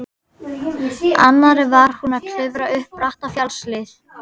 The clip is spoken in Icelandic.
annarri var hún að klifra upp bratta fjallshlíð.